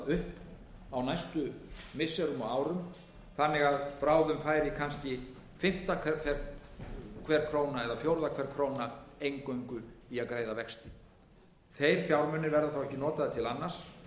upp á næstum missirum og árum þannig að bráðum færi kannski fimmta hver króna eða fjórða hver króna eingöngu í að greiða vexti þeir fjármunir verða þá ekki notaðir til annars